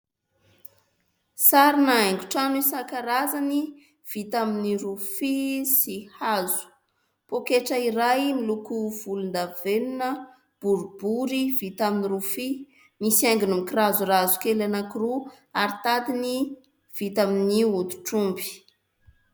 Sarina haingo trano isan-karazany vita amin'ny rofia sy hazo. Poketra iray miloko volon-davenona boribory vita amin'ny rofia misy haingony mikirazorazo kely anankiroa ary tadiny vita amin'ny hoditr'omby.